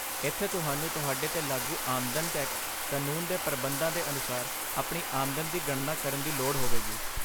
ਇੱਥੇ ਤੁਹਾਨੂੰ ਤੁਹਾਡੇ 'ਤੇ ਲਾਗੂ ਆਮਦਨ ਟੈਕਸ ਕਾਨੂੰਨ ਦੇ ਪ੍ਰਬੰਧਾਂ ਦੇ ਅਨੁਸਾਰ ਆਪਣੀ ਆਮਦਨ ਦੀ ਗਣਨਾ ਕਰਨ ਦੀ ਲੋੜ ਹੋਵੇਗੀ।